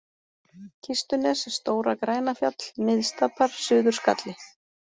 Kistunes, Stóra-Grænafjall, Miðstapar, Suður-Skalli